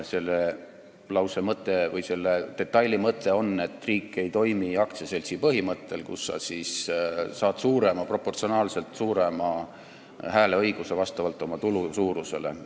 Selle detaili mõte on, et riik ei toimi aktsiaseltsi põhimõttel, kus sa saad proportsionaalselt suurema hääleõiguse vastavalt oma tulu suurusele.